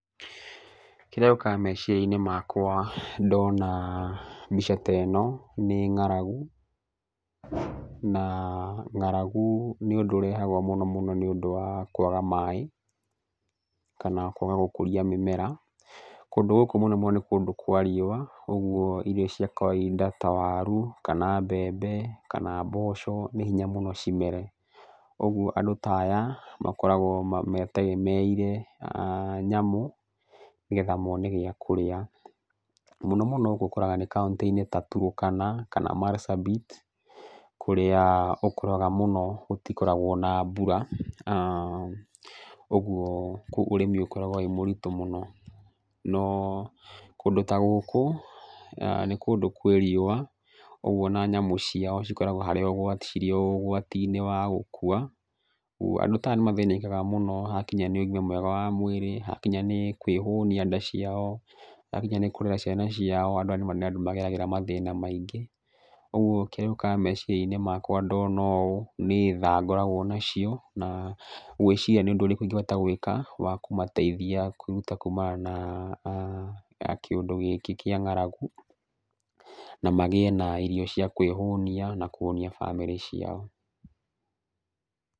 Kĩrĩa gĩũkaga meciria-inĩ makwa ndona mbica ta ĩno nĩ ng'aragu. Na ng'aragu nĩ ũndũ ũrehagwo mũno mũno nĩ ũndũ wa kwaga maaĩ, kana kwaga gũkũria mĩmera. Kũndũ gũkũ mũno mũno nĩ kũndũ kwa riũa ũguo irio cia kawainda ta waru, kana mbembe, kana mboco nĩ hinya mũno cimere. Koguo andũ ta aya makoragwo mategemeire nyamũ nĩgetha mone gĩa kũrĩa. Mũno mũno gũkũ ũkoraga nĩ kũntĩ-inĩ ta Turukana, kana Marsabit, kũrĩa ũkoraga mũno gũtikoragwo na mbura. Ũguo, koguo ũrĩmi ũkoragwo ũrĩ mũritũ mũno. No kũndũ ta gũkũ, nĩ kũndũ kũrĩ riũwa ona koguo ona nyamũ ciao cikorgwo cirĩ o ũgwati-inĩ wa gũkua. Andũ aya nĩ mathĩnĩkaga mũno hakinya nĩ ũgima wa mwĩrĩ, hakinya nĩ kwĩhũnia nda ciao, hakinya nĩ kũrera ciana ciao, andũ aya nĩ andũ mageragĩra mathĩna maingĩ. Ũguo kĩrĩa gĩũkaga meciria-inĩ makwa ndona ũũ, nĩ tha ngoragwo nacio na gwĩciria nĩ ũndũ ũrĩkũ ingĩhota gwĩka wa kũmateithia kwĩruta kumana na kĩũndũ gĩkĩ kĩa ng'aragu, na magĩĩ na irio cia kwĩhũnia na kũhũnia bamĩrĩ ciao.